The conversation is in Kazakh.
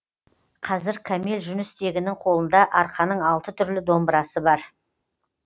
қазір кәмел жүністегінің қолында арқаның алты түрлі домбырасы бар